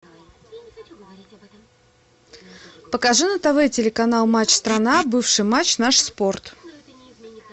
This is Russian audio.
покажи на тв телеканал матч страна бывший матч наш спорт